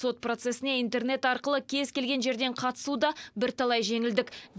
сот процесіне интернет арқылы кез келген жерден қатысу да бірталай жеңілдік